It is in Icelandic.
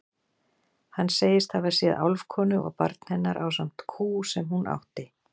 Hann segist hafa séð álfkonu og barn hennar ásamt kú sem hún átti.